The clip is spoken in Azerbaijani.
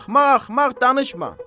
Axmaq-axmaq danışma!